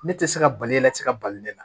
Ne tɛ se ka bali la ne tɛ se ka bali ne la